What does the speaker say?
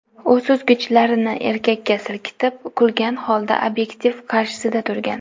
U suzgichlarini erkakka silkitib, kulgan holda obyektiv qarshisida turgan.